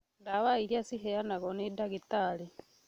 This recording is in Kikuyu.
ndawa iria ciheanagwo nĩ ndagĩtarĩ